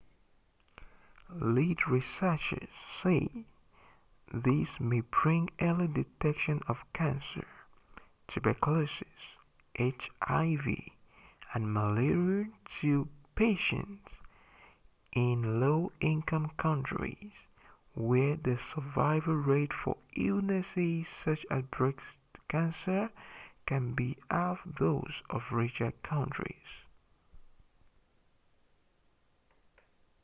lead researchers say this may bring early detection of cancer tuberculosis hiv and malaria to patients in low-income countries where the survival rates for illnesses such as breast cancer can be half those of richer countries